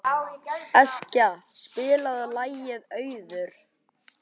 Eskja, spilaðu lagið „Auður“.